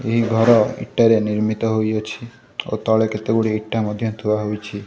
ଏହି ଘର ଇଟାରେ ନିର୍ମିତ ହୋଇଅଛି ଓ ତଳେ କେତେଗୁଡ଼ିଏ ଇଟା ମଧ୍ୟ ଥୁଆ ହୋଇଛି।